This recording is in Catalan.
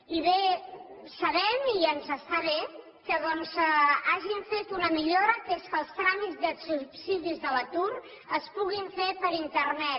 i bé sabem i ens està bé que hagin fet una millora que és que els tràmits dels subsidis de l’atur es puguin fer per internet